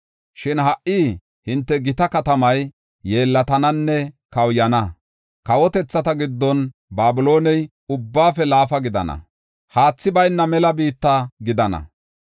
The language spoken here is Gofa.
Shin ha77i hinte gita katamay yeellatananne kawuyana. Kawotethata giddon Babilooney ubbaafe laafa gidana; haathi bayna mela biitta gidana.